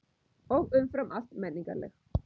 Og umfram allt menningarleg.